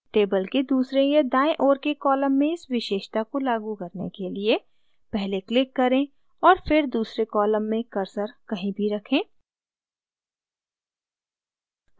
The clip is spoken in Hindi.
table के दूसरे या दायें ओर के column में इस विशेषता को लागू करने के लिए पहले click करें और फिर दूसरे column में cursor कहीं भी रखें